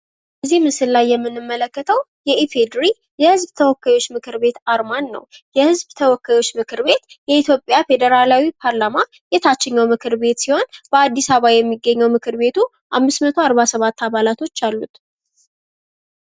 እዚህ ምስል ላይ የምንመለከተው የኢፌድሪ የህዝብ ተወካዮች አርማን ነው። የኢትዮጵያ ፌዴራላዊ ፓርላማ የታችኛው ምክር ቤት ሲሆን በአዲስ አበባ ከተማ የሚገኘው ሲሆን አምስት መቶ አርባ ሰባት አባላቶች አሉት።